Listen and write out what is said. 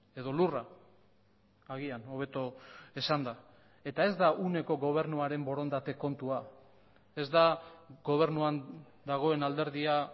edo lurra agian hobeto esanda eta ez da uneko gobernuaren borondate kontua ez da gobernuan dagoen alderdia